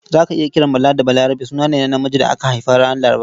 Za ka iya kiran Bala da Balarabe suna ne na namiji da aka haifa ranar Laraba.